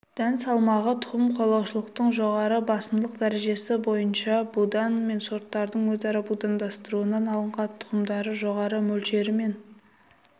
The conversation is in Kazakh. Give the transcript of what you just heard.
дән салмағы тұқым қуалаушылықтың жоғары басымдылық дәрежесі бойынша будан мен сорттардың өзара будандастыруынан алынған тұқымдардың жоғары мөлшерімен